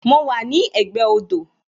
Mo wà ní ẹ̀gbẹ́ odò